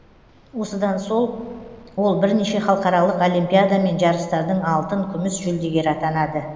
осыдан сол ол бірнеше халықаралық олимпиада мен жарыстардың алтын күміс жүлдегері атанады